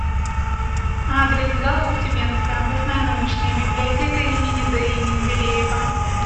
адрес гаук тюменская областная научная библиотека им ди менделеева